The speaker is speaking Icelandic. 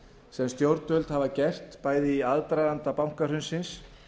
sem stjórnvöld hafa gert bæði í aðdraganda bankahrunsins